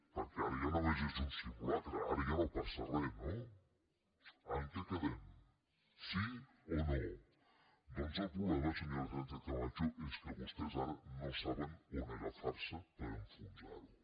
perquè ara ja només és un simulacre ara ja no passa res no en què quedem sí o no doncs el problema senyora sánchez camacho és que vostès ara no saben on agafar se per enfonsar ho